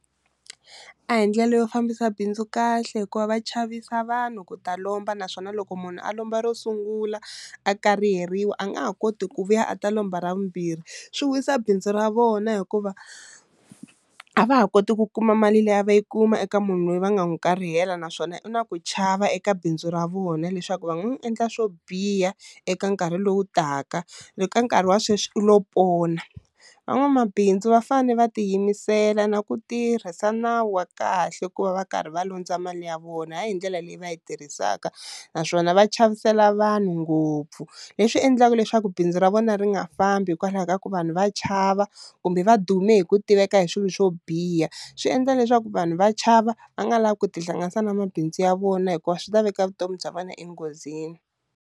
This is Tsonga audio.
A hi ndlela yo fambisa bindzu kahle hikuva va chavisa vanhu ku ta lomba naswona loko munhu a lomba ro sungula a kariheriwa a nga ha koti ku vuya a ta lomba ra vumbirhi, swi wisa bindzu ra vona hikuva a va ha koti ku kuma mali leyi a va yi kuma eka munhu loyi va nga n'wi karihela naswona u na ku chava eka bindzu ra vona leswaku va nga n'wi endla swo biha eka nkarhi lowu taka loko ka nkarhi wa sweswi u lo pona, van'wamabindzu va fane va tiyimisela na ku tirhisa nawu wa kahle ku va va karhi va landza mali ya vona ha yi hi ndlela leyi va yi tirhisaka, naswona va chavisela vanhu ngopfu leswi endlaka leswaku bindzu ra vona ri nga fambi hikwalaho ka ku vanhu va chava kumbe va dume hi ku tiveka hi swilo swo biha swi endla leswaku vanhu va chava va nga lavi ku tihlanganisa na mabindzu ya vona hikuva swi ta veka vutomi bya vona enghozini.